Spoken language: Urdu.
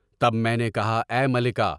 تب میں نے کہا اے ملکہ!